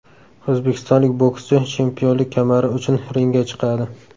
O‘zbekistonlik bokschi chempionlik kamari uchun ringga chiqadi.